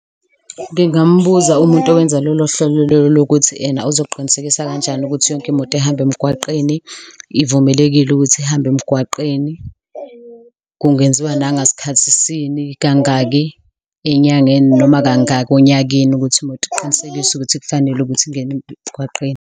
Ngingambuza umuntu owenza lolo hlelo lolo ukuthi yena uzoqinisekisa kanjani ukuthi yonke imoto ehamba emgwaqeni ivumelekile ukuthi ihambe emgwaqeni. Kungenziwa nangaskhathisini, kangaki enyangeni noma kangaki onyakeni ukuthi imoto kuqinisekiswe ukuthi kufanele ukuthi ingene emgwaqeni.